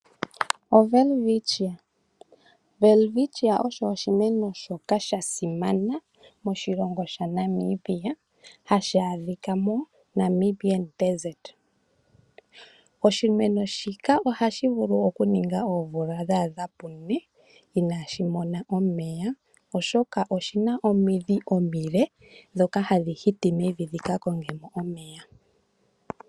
OWelwitschia, welwitschia osho oshimeno shoka sha simana moshilongo shaNamibia hashi adhika moNamib Desert. Oshimeno shika ohashi vulu okuninga oomvula dha adha pu ne inaashi mona omeya, oshoka oshi na omidhi omile ndhoka hadhi hiti mevi dhi ka konge mo omeya.